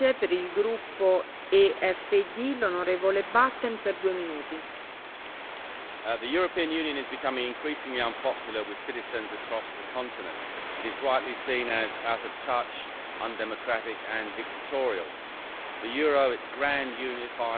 Madam President, the European Union is becoming increasingly unpopular with citizens across the continent. It is rightly seen as out of touch, undemocratic and dictatorial. The euro, its grand unifying political project, is collapsing round its ears.